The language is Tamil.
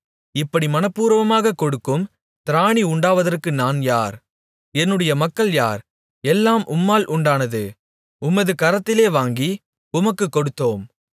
இப்படி மனப்பூர்வமாகக் கொடுக்கும் திராணி உண்டாவதற்கு நான் யார் என்னுடைய மக்கள் யார் எல்லாம் உம்மால் உண்டானது உமது கரத்திலே வாங்கி உமக்குக் கொடுத்தோம்